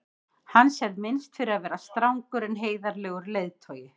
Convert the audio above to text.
hans er minnst fyrir að vera strangur en heiðarlegur leiðtogi